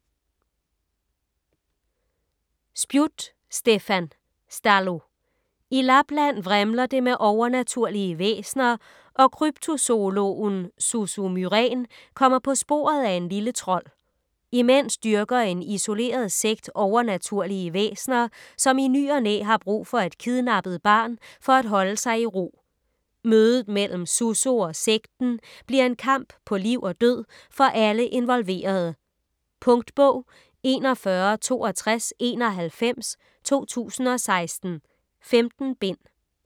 Spjut, Stefan: Stallo I Lapland vrimler det med overnaturlige væsener, og kryptozoologen Susso Myrén kommer på sporet af en lille trold. Imens dyrker en isoleret sekt overnaturlige væsener, som i ny og næ har brug for et kidnappet barn for at holde sig i ro. Mødet mellem Susso og sekten bliver en kamp på liv og død for alle involverede. Punktbog 416291 2016. 15 bind.